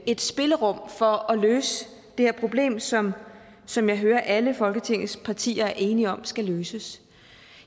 et spillerum for at løse det her problem som som jeg hører at alle folketingets partier er enige om skal løses